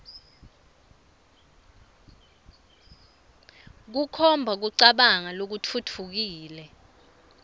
kukhomba kucabanga lokutfutfukile